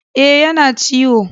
E, yana ciwo.